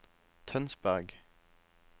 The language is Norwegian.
Tønsberg